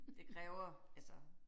Det kræver altså